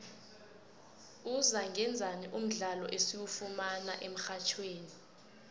uzangaenzani mdlalo esiwufumana emxhatjhweni